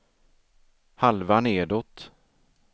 halva nedåt